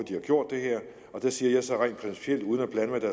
de har gjort det her der siger jeg så rent principielt uden